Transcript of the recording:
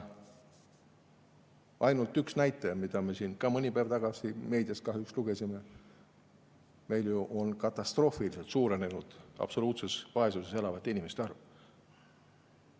On üks näitaja, millest me siin ka mõni päev tagasi meedias kahjuks lugesime: meil on katastroofiliselt suurenenud absoluutses vaesuses elavate inimeste arv.